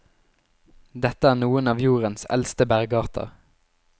Dette er noen av jordens eldste bergarter.